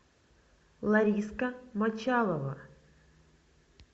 лариска мочалова